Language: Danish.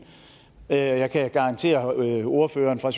og jeg kan garantere ordføreren fra